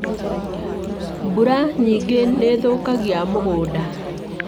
Mbura nyingĩ nĩ thũkagia mũgũnda